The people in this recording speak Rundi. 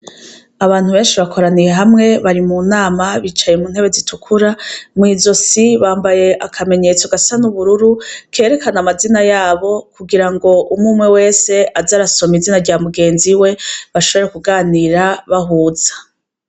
Abantu benshi bakoraniye hamwe bari mu nama bicaye mu ntebe zitukura mw'izo si bambaye akamenyetso gasa n'ubururu kerekana amazina yabo kugira ngo umwumwe wese azi arasoma izina rya mugenzi we bashobore ukuganira bahuza.